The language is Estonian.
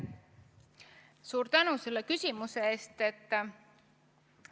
Suur tänu selle küsimuse eest!